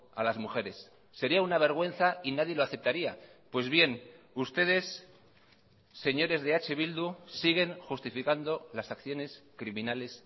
a las mujeres sería una vergüenza y nadie lo aceptaría pues bien ustedes señores de eh bildu siguen justificando las acciones criminales